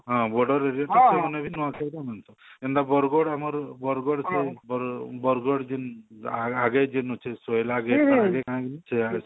ହଁ border ରହିଯାଉଛି ସେମାନେ ବି ନୂଆଖାଇରେ ହେନ୍ତା ବରଗଡ ଆମର ବରଗଡ ବରଗଡ ଯେନ ଆଗେ ଯେନ ଅଛି ଶୋଇଲା ତାର ଆଗେ କାଣା ବୋଲି